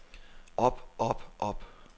op op op